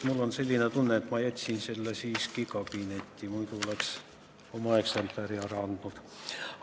Mul on tunne, et ma jätsin selle kabinetti, muidu oleks oma eksemplari ära andnud.